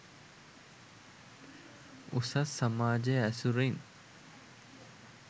උසස් සමාජය ඇසුරින්